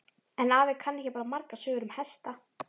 En afi kann ekki bara margar sögur um hesta.